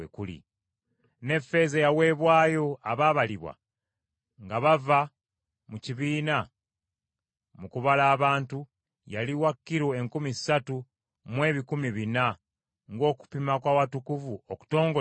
Ne ffeeza eyaweebwayo abaabalibwa nga bava mu kibiina mu kubala abantu, yali wa kilo enkumi ssatu mu ebikumi bina, ng’okupima kw’Awatukuvu okutongole bwe kuli.